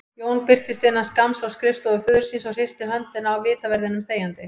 Jón birtist innan skamms á skrifstofu föður síns og hristi höndina á vitaverðinum þegjandi.